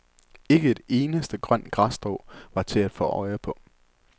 Ikke et eneste grønt græsstrå var til at få øje på.